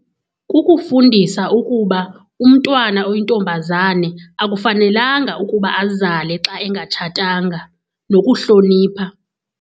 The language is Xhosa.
Kukufundisa ukuba umntwana oyintombazane akufanelanga ukuba azale xa engatshatanga nokuhlonipha.